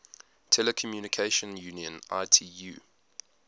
telecommunication union itu